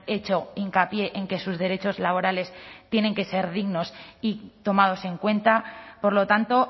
hecho hincapié en que sus derechos laborales tienen que ser dignos y tomados en cuenta por lo tanto